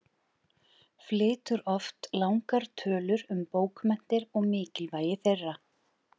Flytur oft langar tölur um bókmenntir og mikilvægi þeirra.